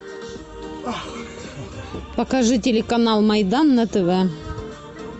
покажи телеканал майдан на тв